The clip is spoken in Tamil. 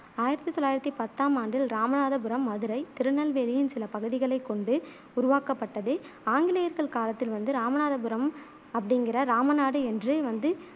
ஆயிரத்தி தொள்ளாயிரத்தி பத்தாம் ஆண்டில் ராமநாதபுரம் மதுரை, திருநெல்வேலியின் சில பகுதிகளைக் கொண்டு உருவாக்கப்பட்டது. ஆங்கிலேயர்கள் காலத்தில் வந்து ராமநாதபுரம் அப்படிங்குற ராமநாடு என்று வந்து